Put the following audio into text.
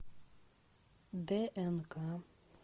днк